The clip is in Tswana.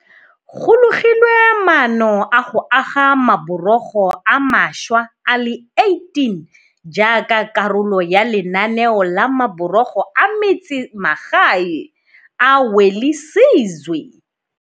Go logilwe maano a go aga maborogo a mašwa a le 18 jaaka karolo ya lenaneo la Maborogo a Metsemagae a Welisizwe.